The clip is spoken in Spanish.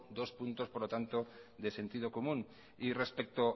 dos puntos por lo tanto de sentido común y respecto